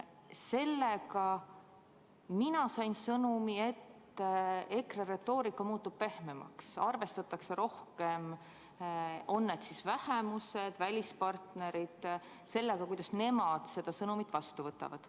Sellega sain mina sõnumi, et EKRE retoorika muutub pehmemaks, arvestatakse rohkem sellega, kuidas nemad, on need siis vähemused või välispartnerid, seda sõnumit vastu võtavad.